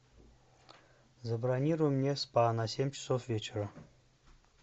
забронируй мне спа на семь часов вечера